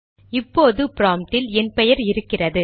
இப்போது ப்ராம்ப்டில் என் பெயர் இருக்கிறது